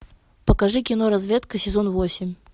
покажи кино разведка сезон восемь